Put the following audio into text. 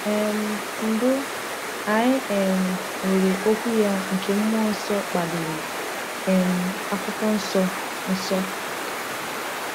um Mbụ, anyị um nwere Okwu ya nke mmụọ nsọ kpaliri, um Akwụkwọ Nsọ Nsọ.